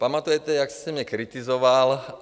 Pamatujete, jak jste mě kritizoval?